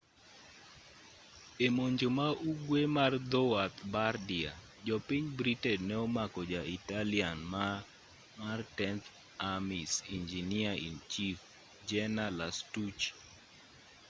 e monjo ma-ugwe mar dhowath bardia jopiny britain ne omako ja italian mar tenth army's engineer-in-chief jener lastucci